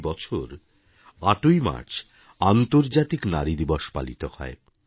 প্রতি বছর ৮ ই মার্চ আন্তর্জাতিক নারী দিবস পালিত হয়